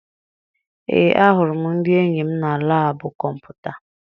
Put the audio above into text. Ee, ahụrụ m ndị enyi m na laabụ kọmputa.